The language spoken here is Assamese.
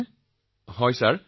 হয় মহোদয়